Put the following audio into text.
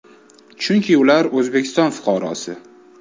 Chunki ular ham O‘zbekiston fuqarosi.